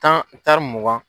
Tan taari mugan.